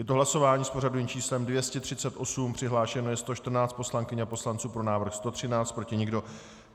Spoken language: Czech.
Je to hlasování s pořadovým číslem 238, přihlášeno je 114 poslankyň a poslanců, pro návrh 113, proti nikdo.